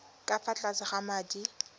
ka fa tlase ga madi